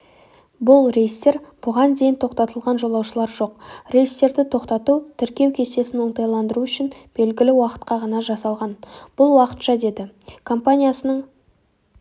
бұл рейстер бұған дейін тоқтатылған жолаушылар жоқ рейстерді тоқтату тіркеу кестесін оңтайландыру үшін белгілі уақытқа ғана жасалған бұл уақытша деді компаниясының